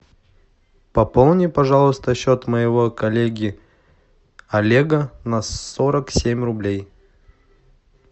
пополни пожалуйста счет моего коллеги олега на сорок семь рублей